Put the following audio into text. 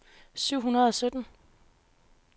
syv hundrede og sytten